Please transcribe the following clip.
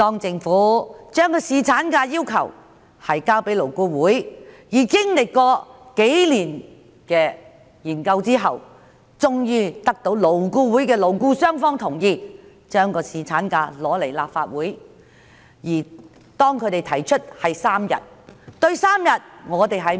政府將侍產假方案提交勞工顧問委員會，而經歷數年研究後，終於得到勞顧會的勞資雙方代表同意，將侍產假方案提交立法會。